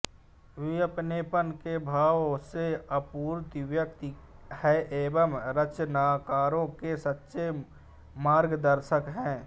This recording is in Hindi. वे अपनेपन के भाव से आपूरित व्यक्ति हैं एवं रचनाकारों के सच्चे मार्गदर्शक हैं